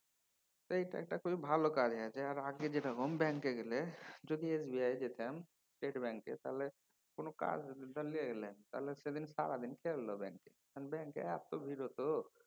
এইটা একটা খুবই ভালো কাজ হয়েছে। আর আগে যেরকম ব্যাঙ্কে গেলে যদি SBI যেতাম state ব্যাঙ্কে কোনও কাজ ধর লিয়ে গেলাম তাহলে সেদিন সারাদিন ঠেলল ব্যাঙ্ক । তখন ব্যাঙ্কে এত ভিড় হত